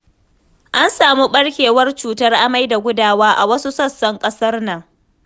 An samu ɓarkewar cutar amai da gudawa a wasu sassan ƙasar nan.